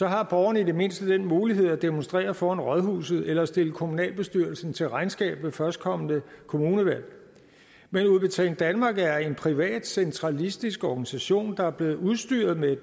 har borgerne i det mindste den mulighed at demonstrere foran rådhuset eller stille kommunalbestyrelsen til regnskab ved førstkommende kommunalvalg men udbetaling danmark er en privat centralistisk organisation der er blevet udstyret med